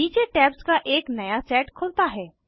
नीचे टैब्स का एक नया सेट खुलता है